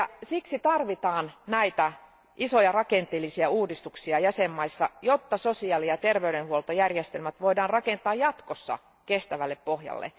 Siksi tarvitaan näitä isoja rakenteellisia uudistuksia jäsenvaltioissa, jotta sosiaali ja terveydenhuoltojärjestelmät voidaan rakentaa jatkossa kestävälle pohjalle.